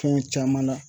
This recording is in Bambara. Fɛn caman na